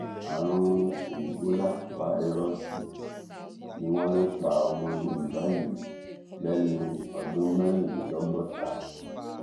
àrùn kòǹgóláfàírọọsì ni wọn lọ pa ọmọ yorùbá yìí lẹni ọdún mẹrìnlélọgọta